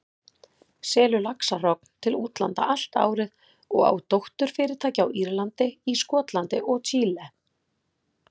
selur laxahrogn til útlanda allt árið og á dótturfyrirtæki á Írlandi, í Skotlandi og Chile.